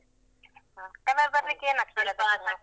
ಹಾ colour ಬರ್ಲಿಕೆ ಏನ್